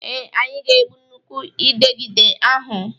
Ee, anyị ga-egbu nnukwu Ịdegịde ahụ